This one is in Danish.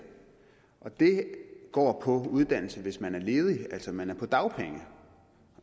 og det går på uddannelse hvis man er ledig altså hvis man er på dagpenge